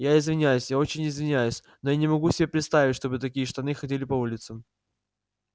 я извиняюсь я очень извиняюсь но я не могу себе представить чтобы такие штаны ходили по улицам